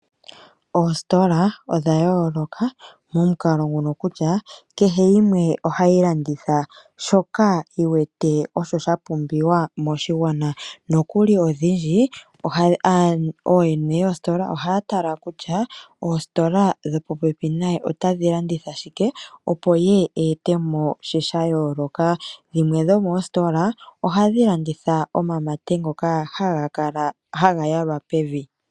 Oositola odha yooloka momukalo ngono kutya, kehe yimwe ohayi landitha shoka yi wete osho sha pumbiwa moshigwana. Nokuli odhindji ooyene yoositola ohaya tala kutya oositola dhopopepi naye kutya otadhi landitha shike opo ye a ete mo shimwe sha yooloka. Dhimwe dhomoositola ohadhi landitha omamate ngono haga yalwa pevi.